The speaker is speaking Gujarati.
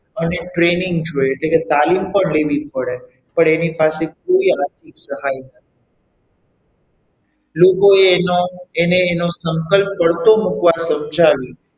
અને training જોઈએ એટલે કે તાલીમ પણ લેવી પડે પણ એની પાસે કોઈ આર્થિક સહાય ન હતી. લોકોએ એનો એને એનું સંકલ્પ પડતો મૂકવાનું સમજાવ્યું.